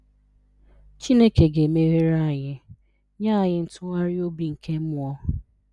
Chineke ga-emeghere anyị, nye anyị ntụgharị obi nke mmụọ.